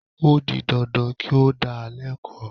O di dandan kí ó dá a lẹ́kọ̀ọ́